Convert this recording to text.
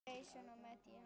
Jason og Medea.